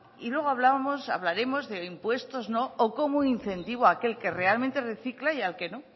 y luego hablábamos hablaremos de impuestos o cómo incentivo aquel que realmente recicla y al que no